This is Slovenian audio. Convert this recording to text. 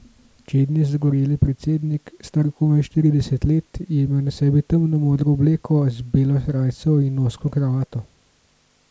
Čedni, zagoreli predsednik, star komaj štirideset let, je imel na sebi temno modro obleko z belo srajco in ozko kravato.